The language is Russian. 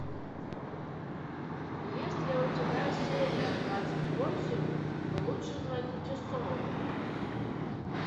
есть ли у тебя серия двадцать восемь лучше звоните солу